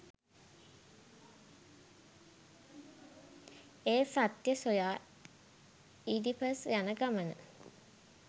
එය සත්‍ය සොයා ඉඩිපස් යන ගමන